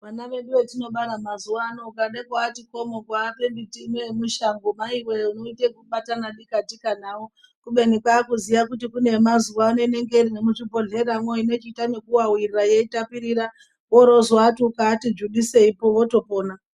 Vana vedu vetinobara mazuwa ano ukade kuvati komo kuvape miti ino yemishango maiwe unoite kubatana dika tika nawo kubeni kwakuziya kuti kune yemazuwa ano inenge iri nemuzvibhodhleramwo inochiita nekuwawirira yeitapirira worozoti ukavati dzvudiseipo votopona.